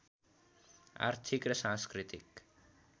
आर्थिक र सांस्कृतिक